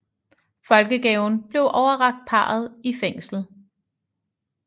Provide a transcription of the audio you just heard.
Folkegaven blev overrakt parret i fængslet